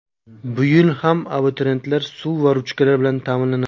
Bu yil ham abituriyentlar suv va ruchkalar bilan ta’minlanadi.